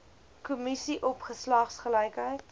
kommissie op geslagsgelykheid